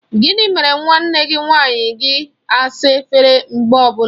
Gịnị mere nwanne gị nwanyị gị asa efere mgbe ọbụla?